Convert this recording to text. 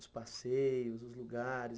Os passeios, os lugares.